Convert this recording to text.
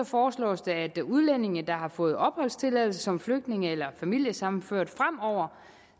foreslås det at udlændinge der har fået opholdstilladelse som flygtninge eller er familiesammenført fremover